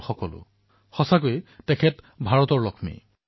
মোৰ বাবে সকলো আৰু তেওঁ প্ৰকৃতাৰ্থতেই ভাৰতৰ লক্ষ্মী